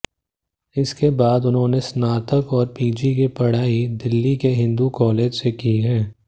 इसके बाद उन्होंने स्नातक और पीजी की पढ़ाई दिल्लीके हिंदू कॉलेज से की है